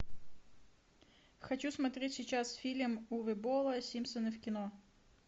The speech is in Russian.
хочу смотреть сейчас фильм уве болла симпсоны в кино